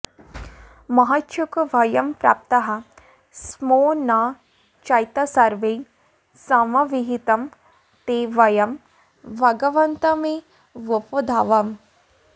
महच्छोकभयं प्राप्ताः स्मो न चैतसर्वैः समभिहितं ते वयं भगवन्तमेवोपधावाम